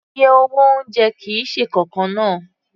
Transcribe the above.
Iye owó oúnjẹ kì í ṣe nǹkan kan náà